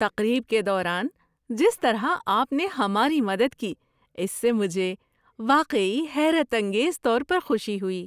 تقریب کے دوران جس طرح آپ نے ہماری مدد کی اس سے مجھے واقعی حیرت انگیز طور پر خوشی ہوئی!